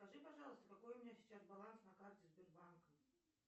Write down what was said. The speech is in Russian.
скажи пожалуйста какой у меня сейчас баланс на карте сбербанка